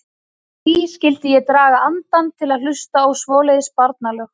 Hví skyldi ég draga andann til að hlusta á svoleiðis barnalög.